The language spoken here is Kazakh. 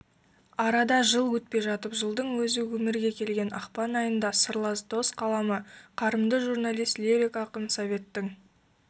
арада жыл өтпей жатып жылдың өзі өмірге келген ақпан айында сырлас дос қаламы қарымды журналист лирик ақын советтің